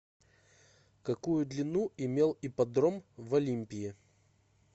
какую длину имел ипподром в олимпии